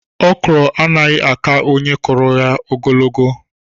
Okro anaghị àkà onye kuruya ogologo.